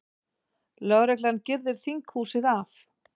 Lögreglan girðir þinghúsið af